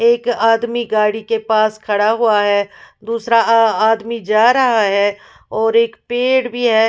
एक आदमी गाड़ी के पास खड़ा हुआ है दूसरा आ आदमी जा रहा है और एक पेड़ भी है।